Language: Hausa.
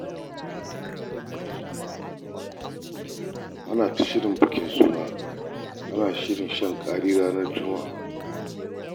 Ana ta shirin bikin suna, ana shirin shan ƙari ranar Juma'a.